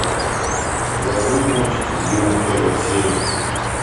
у тебя будет мультик легион первая серия